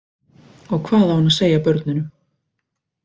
Og hvað á hann að segja börnunum?